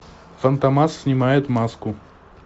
фантомас снимает маску